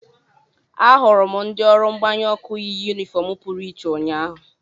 Ahụrụ m ndị ọrụ mgbanyụ ọkụ yi yunifọọm pụrụ iche ụnyahụ.